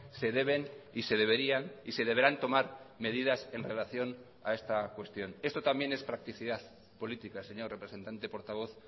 se deben y se deberían y se deberán tomar medidas en relación a esta cuestión esto también es practicidad política señor representante portavoz